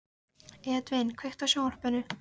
Edvin, kveiktu á sjónvarpinu.